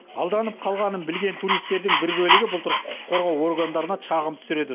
алданып қалғанын білген туристердің бір бөлігі былтыр құқық қорғау органдарына шағым түсіреді